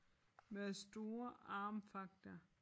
Med store armfagter